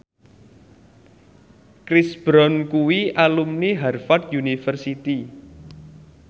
Chris Brown kuwi alumni Harvard university